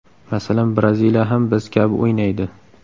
Masalan, Braziliya ham biz kabi o‘ynaydi.